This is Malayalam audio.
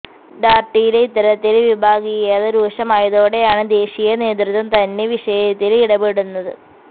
ാര്ട്ടിയില് ഇത്തരത്തില് വിഭാഗീയത രൂക്ഷമായതോടെയാണ് ദേശീയ നേതൃത്വം തന്നെ വിഷയത്തില് ഇടപെടുന്നത്